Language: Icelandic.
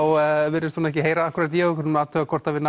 virðist hún ekki heyra í okkur og við athugum hvort við